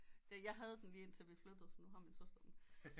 Da jeg havde den lige indtil vi flyttede så nu har min søster den